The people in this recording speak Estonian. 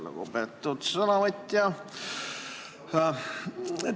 Lugupeetud sõnavõtja!